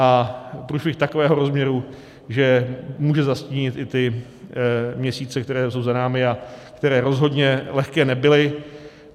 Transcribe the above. A průšvih takového rozměru, že může zastínit i ty měsíce, které jsou za námi a které rozhodně lehké nebyly.